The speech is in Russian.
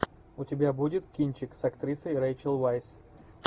у тебя будет кинчик с актрисой рэйчел вайс